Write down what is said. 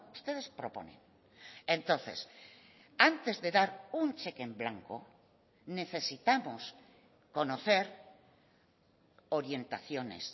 ustedes proponen entonces antes de dar un cheque en blanco necesitamos conocer orientaciones